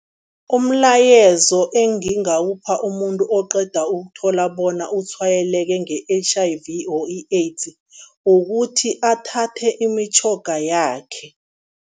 Umlayezo engingawupha umuntu oqeda ukuthola bona utshwayeleke nge-H_I_V or i-AIDS, ukuthi athathe imitjhoga yakhe.